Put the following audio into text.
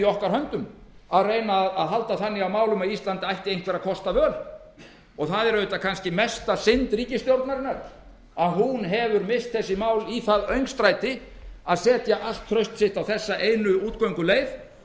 okkar höndum að reyna að halda þannig á málum að ísland ætti einhverra kosta völ og það er kannski mesta synd ríkisstjórnarinnar að hún hefur misst þessi mál í það öngstræti að setja allt traust sitt á þessa einu útgönguleið